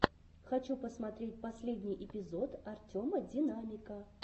хочу посмотреть последний эпизод артема динамика